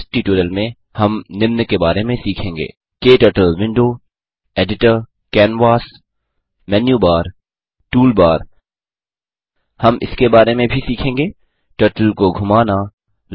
इस ट्यूटोरियल में हम निम्न के बारे में सीखेंगे turtle window editor canvas menu bar toolbar हम इसके बारे में भी सीखेंगे टर्टल को घुमाना